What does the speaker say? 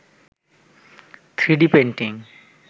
3d painting